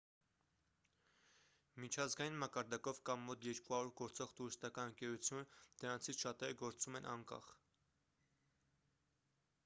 միջազգային մակարդակով կա մոտ 200 գործող տուրիստական ընկերություն դրանցից շատերը գործում են անկախ